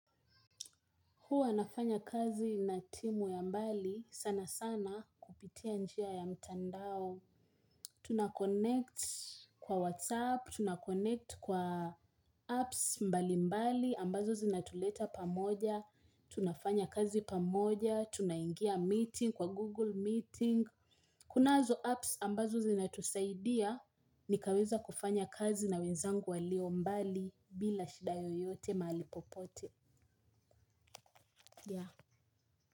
Huwa nafanya kazi na timu ya mbali sana sana kupitia njia ya mtandao. Tunakonect kwa WhatsApp, tunakonect kwa apps mbali mbali ambazo zinatuleta pamoja. Tunafanya kazi pamoja, tunaingia meeting kwa Google meeting. Kunazo apps ambazo zinatusaidia. Nikaweza kufanya kazi na wenzangu walio mbali bila shida yoyote mahali popote.